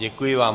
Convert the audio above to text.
Děkuji vám.